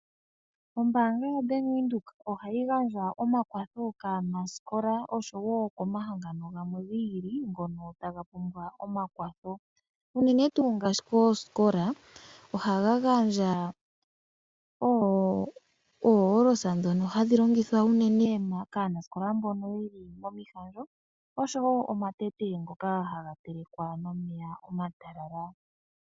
Ombaanga ya bank windhoek ohayi gandja omakwatho kaanasikola osho woo omahangano gamwe gi ili ngoka taga pumbwa omakwatho, unene tuu ngaashi koosikola ohayi oo olosa ndhoka hadhi longithwa unene kaanasikola mboka yeli momi zalo nosho woo omatete ngoka haga telekwa momeya omatalala.